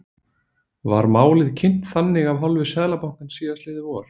Var málið kynnt þannig af hálfu Seðlabankans síðastliðið vor?